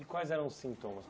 E quais eram os sintomas?